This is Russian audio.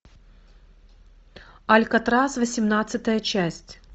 алькатрас восемнадцатая часть